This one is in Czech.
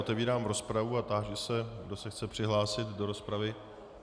Otevírám rozpravu a táži se, kdo se chce přihlásit do rozpravy.